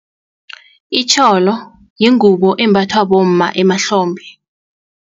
Itjholo yingubo embathwa bomma emahlombe.